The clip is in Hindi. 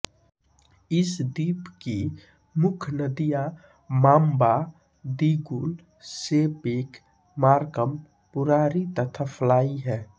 इस द्वीप की मुख्य नदियाँ Mamba Digul Sepik Markham Purari तथा फ्लाई हैं